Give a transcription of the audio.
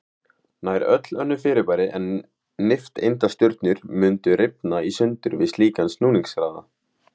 Nær öll önnur fyrirbæri en nifteindastjörnur mundu rifna í sundur við slíkan snúningshraða.